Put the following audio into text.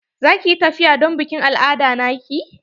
Za ki yi tafiya don bikin al'ada na ki?